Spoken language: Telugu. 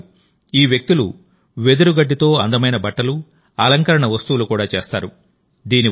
అంతే కాదు ఈ వ్యక్తులు వెదురు గడ్డితో అందమైన బట్టలు అలంకరణ వస్తువులు కూడా చేస్తారు